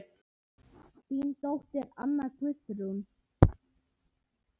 Þín dóttir, Anna Guðrún.